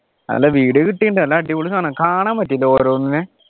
അല്ല video കിട്ടിയിട്ടുണ്ട് നല്ല അടിപൊളി സാധനം കാണാൻ പറ്റിയില്ല ഓരോന്നിനെ